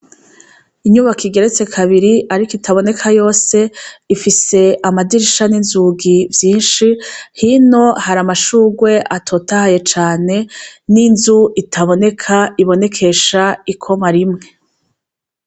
Inyubako igeretse kabiri ariko itaboneka yose ifise amadirisha n' inzugi vyinshi hino hari amashugwe atotahaye cane n' inzu itaboneka ibonekesha ikoma rimwe.